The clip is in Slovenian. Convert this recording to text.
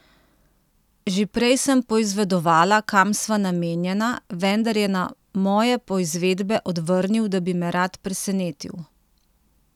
Že prej sem poizvedovala, kam sva namenjena, vendar je na moje poizvedbe odvrnil, da bi me rad presenetil.